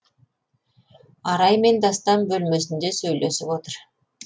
араймен дастан бөлмесінде сөйлесіп отыр